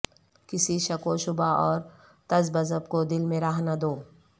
کسی شک وشبہ اور تذبذب کو دل میں راہ نہ دو